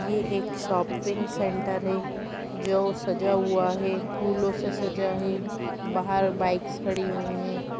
ये एक shopping centre है जो सजा हुआ है फूलो से सजा है बहार बाइक्स खड़ी हुइ हैं।